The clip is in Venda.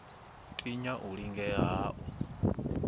tinya u lingea ha u